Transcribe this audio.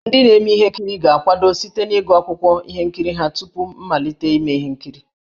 Ndị na-eme ihe nkiri ga-akwado site n'ịgụ akwụkwọ ihe nkiri ha tupu mmalite ime ihe nkiri.